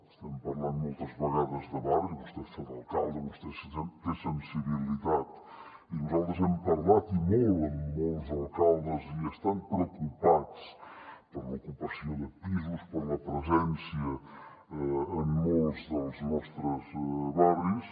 estem parlant moltes vegades de barri vostè ha fet d’alcalde vostè té sensibilitat i nosaltres hem parlat i molt amb molts alcaldes i estan preocupats per l’ocupació de pisos per la presència en molts dels nostres barris